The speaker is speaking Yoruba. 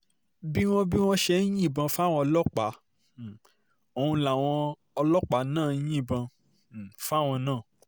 bí wọ́n bí wọ́n ṣe ń yìnbọn fáwọn ọlọ́pàá um ọ̀hún làwọn náà ń yìnbọn um fáwọn náà